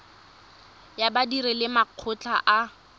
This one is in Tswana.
ya badiri le makgotla a